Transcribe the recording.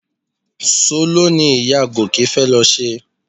Soló ni ìyá Gòkè fẹ́ lọ ṣe